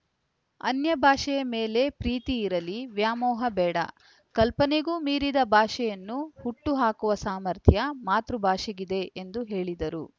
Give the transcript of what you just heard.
ಅನ್ಯ ಭಾಷೆಯ ಮೇಲೆ ಪ್ರೀತಿ ಇರಲಿ ವ್ಯಾಮೋಹ ಬೇಡ ಕಲ್ಪನೆಗೂ ಮೀರಿದ ಭಾಷೆಯನ್ನು ಹುಟ್ಟು ಹಾಕುವ ಸಾಮರ್ಥ್ಯ ಮಾತೃಭಾಷೆಗಿದೆ ಎಂದು ಹೇಳಿದರು